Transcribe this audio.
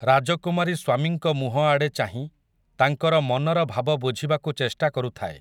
ରାଜକୁମାରୀ ସ୍ୱାମୀଙ୍କ ମୁହଁଆଡ଼େ ଚାହିଁ, ତାଙ୍କର ମନର ଭାବ ବୁଝିବାକୁ ଚେଷ୍ଟା କରୁଥାଏ ।